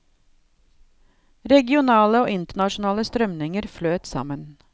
Regionale og internasjonale strømninger fløt sammen.